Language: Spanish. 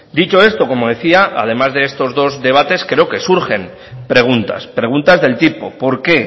dicho esto como decía además de estos dos debates creo que surgen preguntas preguntas del tipo por qué